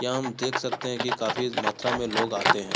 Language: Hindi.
यहाँ हम देख सकते हैं की काफी मात्रा में लोग आते हैं।